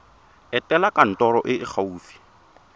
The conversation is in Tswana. etela kantoro e e gaufi